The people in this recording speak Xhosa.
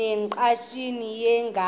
ne ngqatsini yelanga